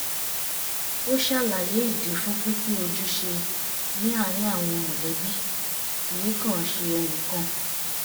ó ṣàlàyé ìdí fún pínpín ojúṣe ní àárín àwọn mọ̀lẹ́bí kì í kàn ṣe ẹnìkan